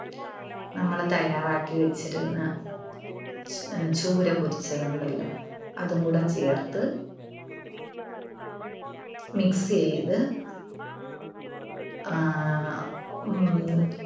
നമ്മള് തയ്യാറാക്കിവെച്ചിരുന്ന അഹ് ചൂര പൊരിച്ചതുണ്ടല്ലോ അതും കൂടെ ചേർത്ത് mix ചെയ്‌ത്‌ ആഹ് ഉം